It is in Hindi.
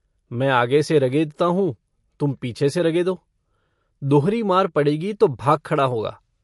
मैं आगे से रगेदता हूँ तुम पीछे से रगेदो दोहरी मार पड़ेगी तो भाग खड़ा होगा।